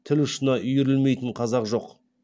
тіл ұшына үйірілмейтін қазақ жоқ